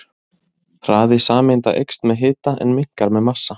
Hraði sameinda eykst með hita en minnkar með massa.